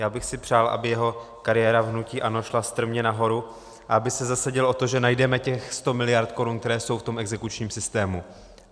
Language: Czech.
Já bych si přál, aby jeho kariéra v hnutí ANO šla strmě nahoru a aby se zasadil o to, že najdeme těch 100 miliard korun, které jsou v tom exekučním systému.